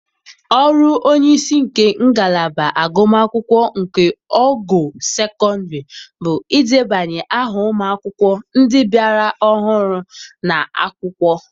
Ọrụ onye isi nke ngalaba agụm akwụkwọ nke ogo sekọndrị bụ idebanye ahụ ụmụ akwụkwọ ndị bịara ahụrụ ná-akwụkwọ